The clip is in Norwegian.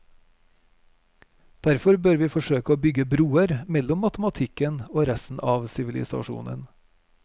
Derfor bør vi forsøke å bygge broer mellom matematikken og resten av sivilisasjonen.